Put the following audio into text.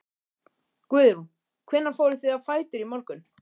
Guðrún: Hvenær fóruð þið á fætur í morgun?